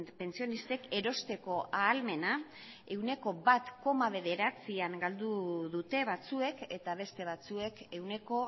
pentsionistek erosteko ahalmena ehuneko bat koma bederatzian galdu dute batzuek eta beste batzuek ehuneko